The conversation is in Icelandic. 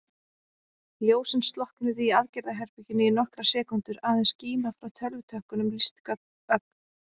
Ljósin slokknuðu í aðgerðaherberginu í nokkrar sekúndur, aðeins skíma frá tölvutökkunum lýsti ögn.